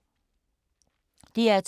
DR2